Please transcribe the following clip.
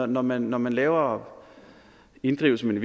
når man når man laver inddrivelse men